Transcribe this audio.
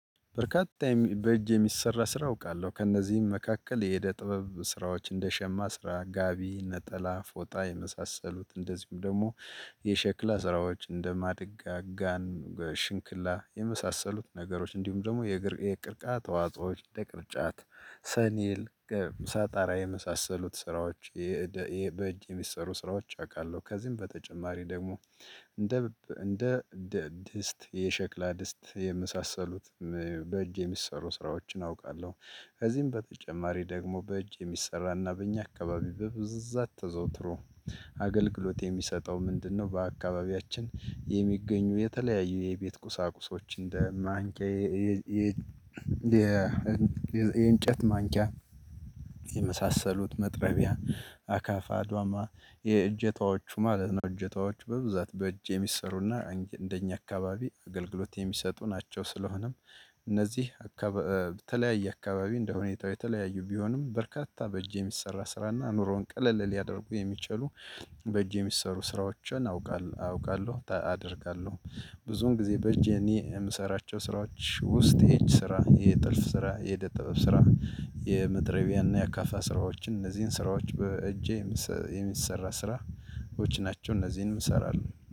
በርካታ በእጅ የሚሰራ ስራ አውቃለሁ ከእነዚህም መካከል የእደ ጥበብ ስራዎች እንደ ሸማ ስራ ጋቢ ነጠላ ፎጣ የመሳሰሉት እንደዚሁም ደግሞ የሸክላ ስራዎች እንደ ማድጋጋን ሽንክላ የመሳሰሉት ነገሮች እንዲሁም ደግሞ የእግር የቅርቃጫተዋጾዎች የቅርጫት ሰኔል ሳጣራ የመሳሰሉት ስራዎች በእጅ የሚሰሩ ስራዎች አውቃለሁ። ከዚህም በተጨማሪ ደግሞ እንደ እንደ ድስት የሸክላ ድስት የመሳሰሉት በእጅ የሚሰሩ ስራዎችን አውቃለሁ። ከዚህም በተጨማሪ ደግሞ በእጅ የሚሰራና በእኛ አካባቢ በብዛት ተዘውትሮ አገልግሎት የሚሰጠው ምንድነው? በአካባቢያችን የሚገኙ የተለያዩ የቤት ቁሳቁሶች እንደ ማንኪያ የ የእንጨት ማንኪያ የመሳሰሉት መጥረቢያ አካፋዷማ የእጀታዎቹ ማለት ነው። እጀታዎች በብዛት በእጅ የሚሰሩና እንደኛ አካባቢ አገልግሎት የሚሰጡ ናቸው። ስለሆነም እነዚህ በተለያዩ አካባቢ እንደሁኔታው የተለያዩ ቢሆንም በርካታ በእጄ የሚሰራ ስራና ኑሮን ቀለል ሊያደርጉ የሚችሉ በእጅ የሚሰሩ ስራዎችን አውቃለሁ። አደርጋለሁ። ብዙን ጊዜ በእጄ እኔ የምሰራቸው ስራዎች ውስጥ የእጅ ስራ የጥልፍ ስራ የእደጥበብ ስራ። የመጥረቢያና የአካፋ ስራዎችን እነዚህን ስራዎች በእጄ የሚሰራ ስራዎች ናቸው እነዚህንም እሰራለሁ